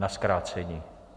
Na zkrácení?